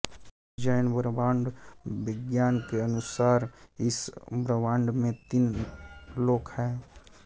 जैन ब्रह्माण्ड विज्ञान के अनुसार इस ब्रह्माण्ड में तीन लोक है